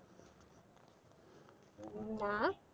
না।